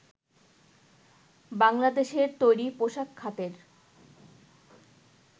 বাংলাদেশের তৈরি পোশাক খাতের